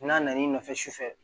N'a nan'i nɔfɛ su fɛ